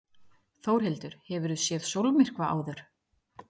Þórhildur: Hefurðu séð sólmyrkva áður?